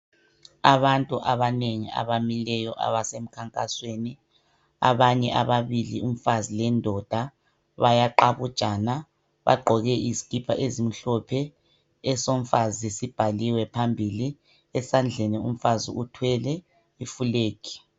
Abantu abanengi abamikeyo abasemkhankasweni, abanye ababili umfazi lendoda bayaqabujana bagqoke izikipa ezimhlophe, esomfazi sibhaliwe phambili, esandleni umfazi uthwele ifulegi.